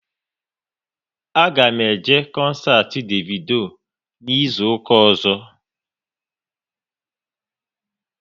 A ga m eje koncert Davido n'izuka ọzọ